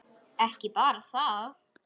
Ekki bara það.